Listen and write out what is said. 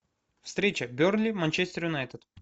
встреча бернли манчестер юнайтед